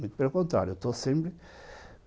Pelo contrário.